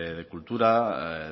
de cultura